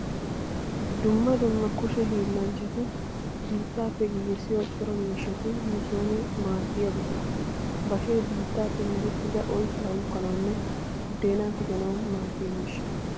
Dumma dumma kushe hiillanchchati biittappe giigissiyo cora miishshati nu sooni maaddiya buqura. Bashee biittappe merettida oyttaa uukkanawunne buddeenaa tiganawu maaddiya miishsha.